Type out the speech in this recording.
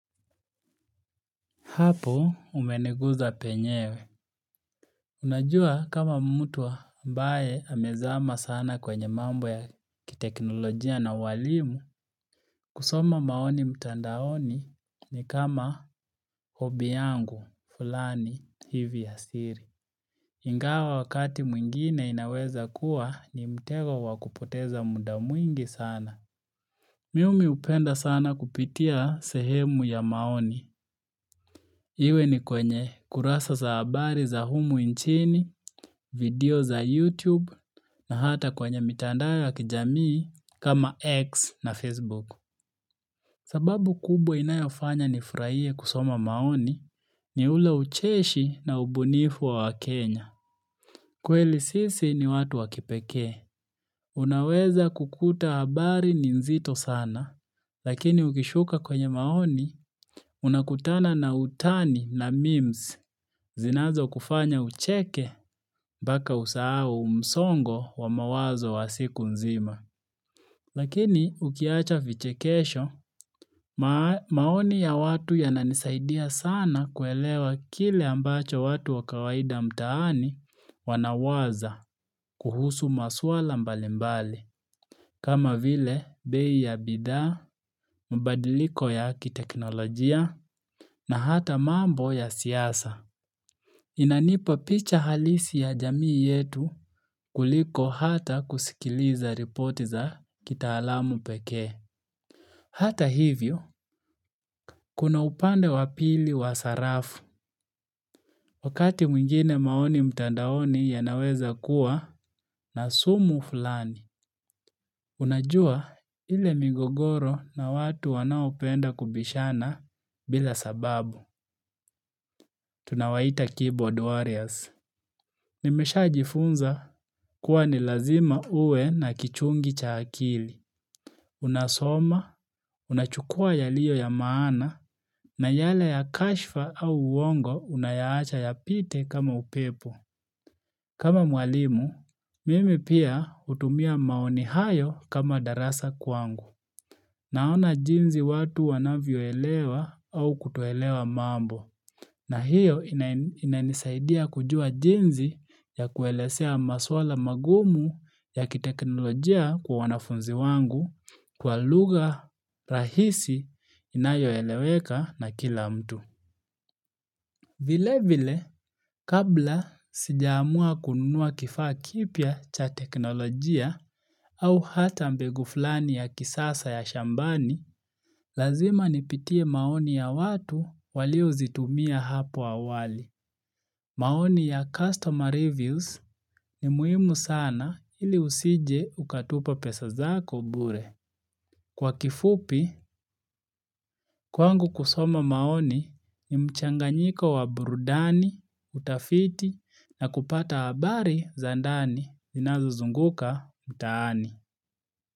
Hapo umeneguza penyewe. Unajua kama mtu ambae amezama sana kwenye mambo ya kiteknolojia na walimu. Kusoma maoni mtandaoni ni kama hobi yangu fulani hivi ya siri. Ingawa wakati mwingine inaweza kuwa ni mtego wakupoteza muda mwingi sana. Miumi hupenda sana kupitia sehemu ya maoni. Iwe ni kwenye kurasa za habari za humu inchini, video za YouTube na hata kwenye mitandao ya kijamii kama X na Facebook. Sababu kubwa inayofanya nifraie kusoma maoni ni ule ucheshi na ubunifu wa wakenya. Kweli sisi ni watu wakipekee. Unaweza kukuta habari ni nzito sana, lakini ukishuka kwenye maoni, unakutana na utani na memes. Zinazo kufanya ucheke mbaka usahau msongo wa mawazo wa siku nzima. Lakini ukiacha vichekesho, maoni ya watu yananisaidia sana kuelewa kile ambacho watu wakawaida mtaani wanawaza kuhusu masuala mbalimbali. Kama vile, bei ya bidhaa, mbadiliko ya kiteknolojia na hata mambo ya siasa. Inanipa picha halisi ya jamii yetu kuliko hata kuskiliza ripoti za kitaalamu peke. Hata hivyo, kuna upande wapili wa sarafu wakati mwingine maoni mtandaoni yanaweza kuwa na sumu fulani. Unajua ile migogoro na watu wanaopenda kubishana bila sababu. Tunawaita keyboard warriors. Nimeshajifunza kuwa ni lazima uwe na kichungi cha akili. Unasoma, unachukua yaliyo ya maana, na yale ya kashfa au uongo unayaacha yapite kama upepo. Kama mwalimu, mimi pia utumia maoni hayo kama darasa kwangu. Naona jinzi watu wanavyo elewa au kutoelewa mambo. Na hiyo inan inanisaidia kujua jinzi ya kuelesea masuala magumu ya kiteknolojia kwa wanafunzi wangu kwa lugha rahisi inayo eleweka na kila mtu. Vile vile, kabla sijaamua kununua kifaa kipya cha teknolojia au hata mbegu fulani ya kisasa ya shambani, lazima nipitie maoni ya watu waliouzitumia hapo awali. Maoni ya customer reviews ni muhimu sana ili usije ukatupa pesa zako bure. Kwa kifupi, kwangu kusoma maoni ni mchanganyiko wa burudani, utafiti na kupata habari za ndani inazozunguka mtaani.